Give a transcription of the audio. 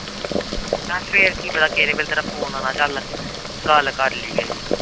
ਮੈਂ ਕਿਹਾ ਫਿਰ ਕੀ ਪਤਾ ਕਿਹੜੇ ਵੇਲੇ ਤੇਰਾ phone ਆਉਣਾ ਚੱਲ ਗੱਲ ਕਰ ਲਈਏ